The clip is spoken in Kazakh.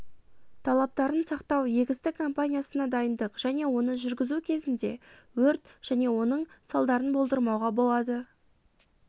талаптарын сақтау егістік компаниясына дайындық және оны жүргізу кезінде өрт және оның салдарын болдырмауға болады